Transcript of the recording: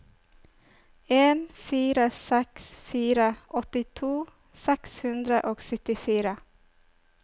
en fire seks fire åttito seks hundre og syttifire